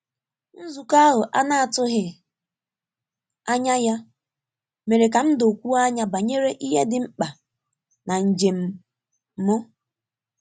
Nzukọ ahụ a na-atụghị anya ya mere ka m dokwuo anya banyere ihe dị mkpa na njem m.